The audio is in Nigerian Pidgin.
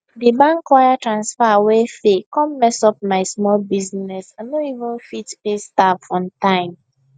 di bank wire transfer wey fail come mess up my small business i no even fit pay staff on time